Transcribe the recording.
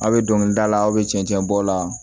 Aw bɛ dɔnkili dalaw bɛ cɛncɛn bɔ o la